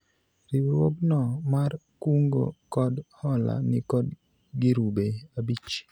riwruogno mar kungo kod hola nikod girube abich